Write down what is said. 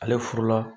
Ale furu la